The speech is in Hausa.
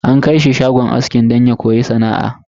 An kai shi shagon aski don ya koya sana'ar.